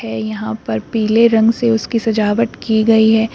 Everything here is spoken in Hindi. यहां पर पीले रंग से उसकी सजावट की गई है।